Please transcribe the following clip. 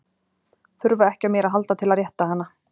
Þurfa ekki á mér að halda til að rétta hana.